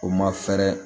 O ma fɛɛrɛ